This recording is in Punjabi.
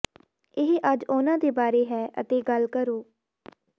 ਇਹ ਅੱਜ ਉਨ੍ਹਾਂ ਦੇ ਬਾਰੇ ਹੈ ਅਤੇ ਗੱਲ ਕਰੋ